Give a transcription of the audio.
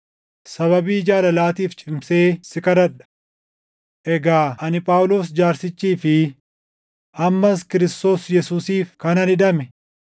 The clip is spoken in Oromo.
sababii jaalalaatiif cimseen si kadhadha. Egaa ani Phaawulos jaarsichii fi ammas Kiristoos Yesuusiif kanan hidhame,